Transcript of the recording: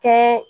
Kɛ